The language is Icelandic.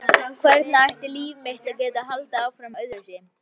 Hvernig ætti líf mitt að geta haldið áfram öðruvísi?